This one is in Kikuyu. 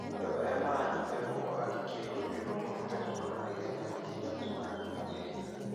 Andũ arĩa maranyita guoko angĩ kĩrũrĩrĩ no mahote kũhona naihenya makĩria kũmana na mathina.